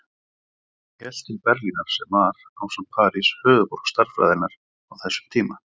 Hann hélt til Berlínar sem var, ásamt París, höfuðborg stærðfræðinnar á þessum tíma.